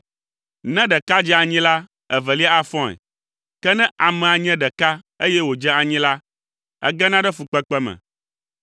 Ne ɖeka dze anyi la, evelia afɔe, ke ne amea nye ɖeka eye wòdze anyi la, egena ɖe fukpekpe me.